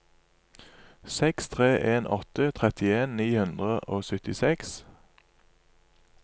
seks tre en åtte trettien ni hundre og syttiseks